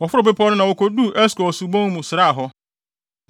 Wɔforoo bepɔw no na wokoduu Eskol subon mu sraa hɔ.